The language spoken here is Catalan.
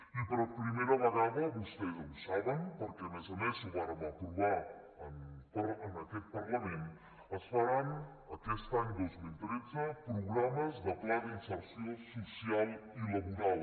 i per primera vegada vostès ho saben perquè a més a més ho vàrem aprovar en aquest parlament es faran aquest any dos mil tretze programes de pla d’inserció social i laboral